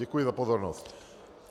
Děkuji za pozornost.